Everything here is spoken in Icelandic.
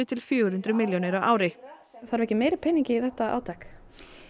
til fjögur hundruð milljónir á ári þarf ekki meiri pening í þetta átak